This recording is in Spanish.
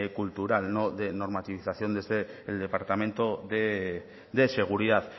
cultural no de normativización desde el departamento de seguridad